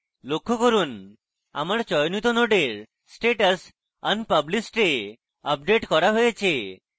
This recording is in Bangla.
লক্ষ্য করুন আমার চয়নিত নোডের status unpublished এ আপডেট করা হয়েছে